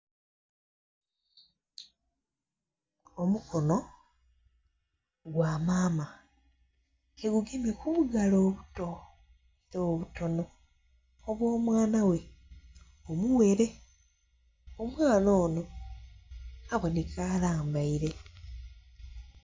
Omukono gwa maama ke gugemye ku bugalo obuto era obutonho obwo mwana ghe omughere. Omwaana onho abonheka alambaire.